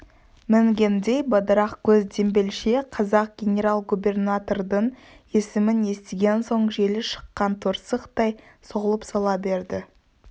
мінгендей бадырақ көз дембелше қазақ генерал-губернатордың есімін естіген соң желі шыққан торсықтай солып сала берді